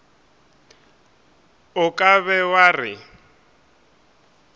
o ka be wa re